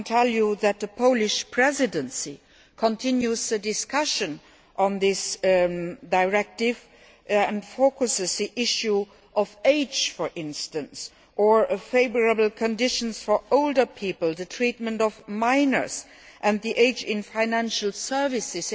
I can tell you that the Polish Presidency is continuing the discussion on this directive and is focusing on the issue of age, for instance, or favourable conditions for older people, the treatment of minors and age in financial services.